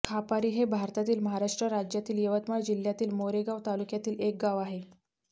खापारी हे भारतातील महाराष्ट्र राज्यातील यवतमाळ जिल्ह्यातील मारेगांव तालुक्यातील एक गाव आहे